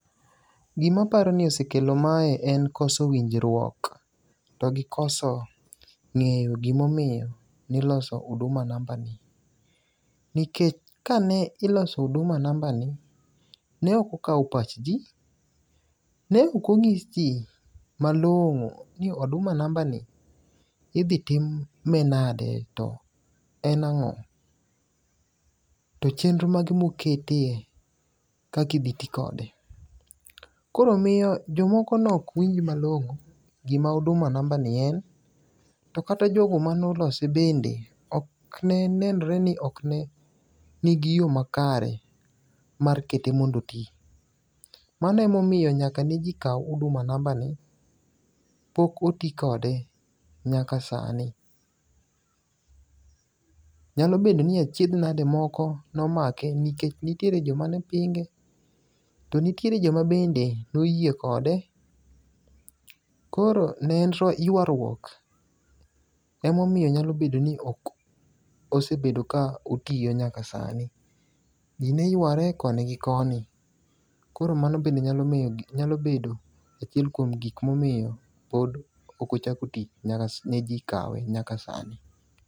Gimaparo ni osekelo mae en koso winjruok to gi koso ng'eyo gimomiyo niliso Huduma Namba ni. Nikech kane iloso Huduma Namba ni, ne ok okawo pach ji. Ne ok onyis ji malong'o ni Huduma Namba ni idgi time nade to en ang'o. To chenro mage mokete kakidhi ti kode. Koro miyo jomoko nok winj malong'o gima Huduma ni en. To kata jogo manolose bende ok ne nenre ni ok ne nigiyo makare mar kete mondoti. Manemomiyo nyaka ne ji kaw Hudima Namba ni pok oti kode nyaka sani. Nyalo bedo ni achiedh nade moko nomake nikech nitiere joma ne pinge. To nitiere joma bende noyie kode. Koro ne en ywaruok. Emomiyo nyalobedo ni ok osebedo ka otiyo nyaka sani. Ji neyware koni gi koni. Koro mano bende nyalobedo achiel kuom gik momiyo pok onchako tich nyaka ne ji kawe nyaka sani.